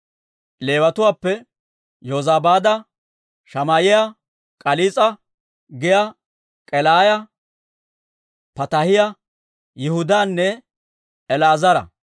Leewatuwaappe: Yozabaada, Shamaa'iyaa, K'aliis'a giyaa K'elaaya, Pataahiyaa, Yihudaanne El"eezera.